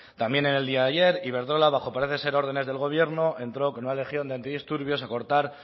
también en el día de ayer iberdrola bajo parece ser órdenes del gobierno entró con una legión de antidisturbios a cortar